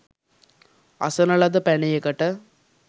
අසන ලද පැනයකට